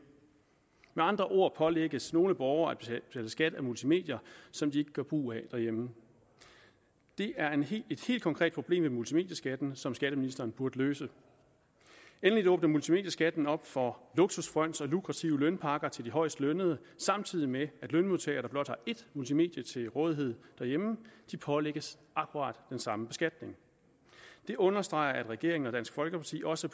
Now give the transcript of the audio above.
med andre ord pålægges nogle borgere at betale skat af multimedier som de ikke gør brug af derhjemme det er et helt konkret problem med multimedieskatten som skatteministeren burde løse endelig åbner multimedieskatten op for luksusfryns og lukrative lønpakker til de højestlønnede samtidig med at lønmodtagere der blot har ét multimedie til rådighed derhjemme pålægges akkurat den samme beskatning det understreger at regeringen og dansk folkeparti også